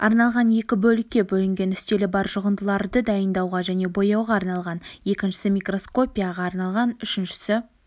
арналған екі бөлікке бөлінген үстелі бар жұғындыларды дайындауға және бояуға арналған екіншісі микроскопияға арналған үшіншісі